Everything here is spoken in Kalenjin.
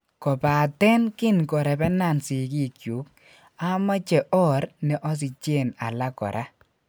Kopaten kin korepenan sikikyuk amache or ne osijen alak kora.